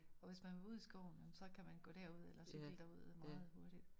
Og hvis man vil ud i skoven så kan man gå derud eller cykle derud meget hurtigt